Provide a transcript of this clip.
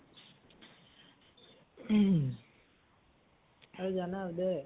আৰু জানা উদয় ?